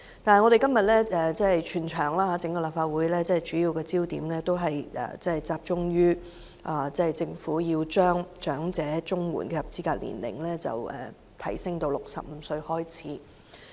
但是，今天整個立法會的主要焦點是集中於政府要將長者綜援的合資格年齡提高至65歲。